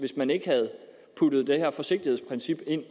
man ikke havde puttet det her forsigtighedsprincip ind